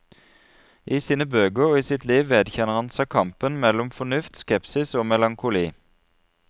I sine bøker og i sitt liv vedkjenner han seg kampen mellom fornuft, skepsis, melankoli.